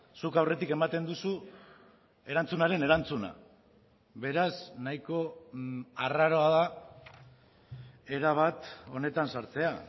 zuk aurretik ematen duzu erantzunaren erantzuna beraz nahiko arraroa da erabat honetan sartzea